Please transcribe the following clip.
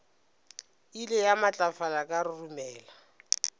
ile ya matlafala ka roromela